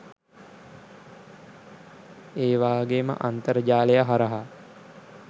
ඒවාගේම අන්තර්ජාලය හරහා